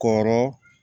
Kɔrɔ